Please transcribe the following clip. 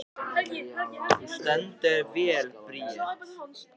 Þú stendur þig vel, Bríet!